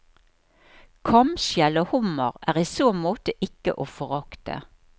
Kamskjell og hummer er i så måte ikke å forakte.